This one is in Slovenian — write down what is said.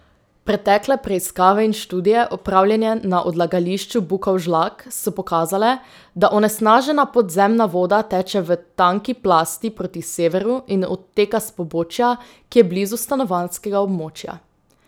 Pretekle preiskave in študije, opravljene na odlagališču Bukovžlak, so pokazale, da onesnažena podzemna voda teče v tanki plasti proti severu in odteka s pobočja, ki je blizu stanovanjskega območja.